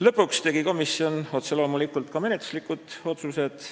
Lõpuks tegi komisjon otse loomulikult menetluslikud otsused.